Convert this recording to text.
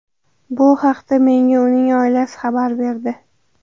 Bu haqda menga uning oilasi xabar berdi”.